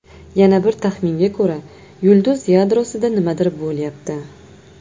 Yana bir taxminga ko‘ra, yulduz yadrosida nimadir bo‘lyapti.